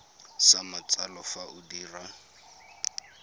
sa matsalo fa o dira